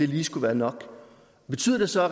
lige skulle være nok betyder det så at